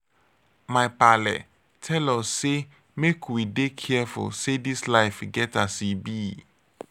my paale tel us sey make we dey careful say dis life get as e be.